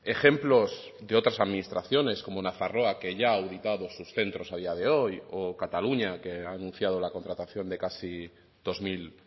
ejemplos de otras administraciones como nafarroa que ya ha ubicado sus centros a día de hoy o cataluña que ha anunciado la contratación de casi dos mil